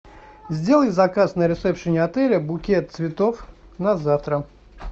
сделай заказ на ресепшене отеля букет цветов на завтра